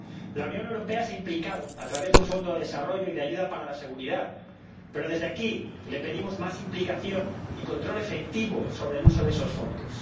La Unión Europea se ha implicado a través de un fondo de desarrollo y de ayuda para la seguridad, pero desde aquí le pedimos más implicación y control efectivo sobre el uso de esos fondos.